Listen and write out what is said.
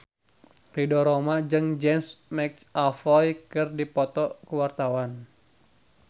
Ridho Roma jeung James McAvoy keur dipoto ku wartawan